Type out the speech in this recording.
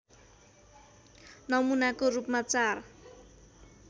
नमुनाको रूपमा चार